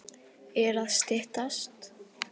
Er að styttast?